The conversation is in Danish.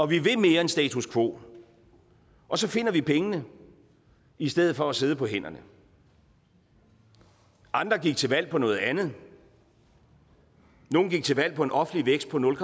vi vil mere end status quo og så finder vi pengene i stedet for at sidde på hænderne andre gik til valg på noget andet nogle gik til valg på en offentlig vækst på nul